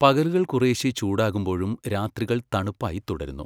പകലുകൾ കുറേശ്ശെ ചൂടാകുമ്പോഴും രാത്രികൾ തണുപ്പായി തുടരുന്നു.